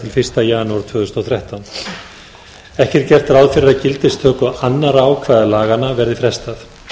til fyrsta janúar tvö þúsund og þrettán ekki er gert ráð fyrir gildistöku annarra ákvæða laganna verði frestað